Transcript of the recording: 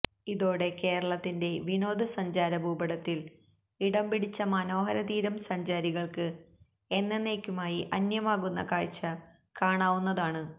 ഇതോടെ കേരളത്തിന്റെ വിനോദ സഞ്ചാര ഭൂപടത്തിൽ ഇടം പിടിച്ചമനോഹര തീരം സഞ്ചാരികൾക്ക് എന്നന്നേക്കുമായി അന്യമാകുന്ന കാഴ്ച കാണാവുന്നതാണ്